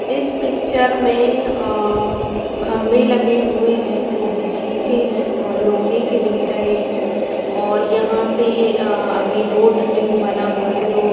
इस पिक्चर में अ खंबे लगे हुआ हैंजो बिजली के है और लोहे के दिख रहें है और यहाँ से अ अभी रोड न्यू बना हुआ है जो --